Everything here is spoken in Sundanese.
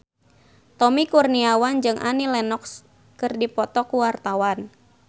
Tommy Kurniawan jeung Annie Lenox keur dipoto ku wartawan